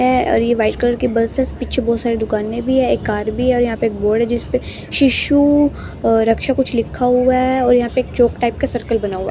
है और ये वाइट कलर के बस है पीछे बहुत सारी दुकानें भी है एक कार भी है और यहाँ पे एक बोर्ड है जिस पे शिशु रक्षा कुछ लिखा हुआ है और यहाँ पे एक चौक टाइप का सर्कल बना हुआ है।